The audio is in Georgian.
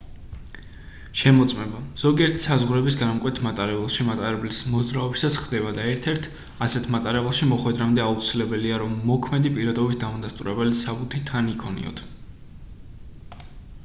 შემოწმება ზოგიერთ საზღვრების გადამკვეთ მატარებელში მატარებლის მოძრაობისას ხდება და ერთ-ერთ ასეთ მატარებელში მოხვედრამდე აუცილებლია რომ მოქმედი პირადობის დამადასტურებელი საბუთი თან იქონიოთ